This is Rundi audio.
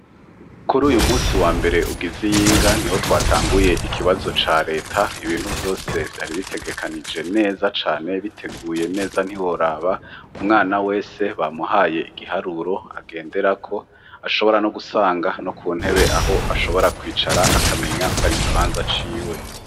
Kur'uyu munsi wa mbere ugiz'iyinga niho twatanguye ikibazo ca Leta ibintu vyose vyari bitegekanije neza cane biteguye neza ntiworaba, umwana wese bamuhaye igiharuro agenderako ashobora no gusanga no ku ntebe aho ashobora kwicara akamenya kwar'ikibanza ciwe.